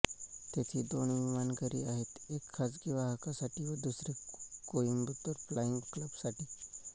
तेथे दोन विमानघरे आहेत एक खाजगी वाहकांसाठी व दुसरे कोइंबतुर फ्लाईंग क्लब साठी